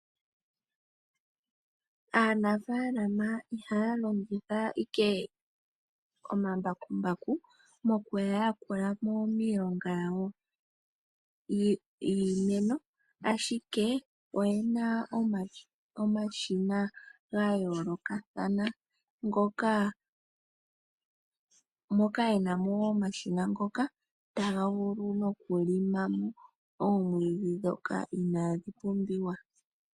Aanafaalama ihaya longitha ike omambakumbaku moku ya yakulamo miilongo yawo yiimeno ashike oyena omashina gayoolokathana ngoka, moka yenamo omashina ngoka taga vulu nokulima oomwiidhi dhoka inaadhi pumbiwa.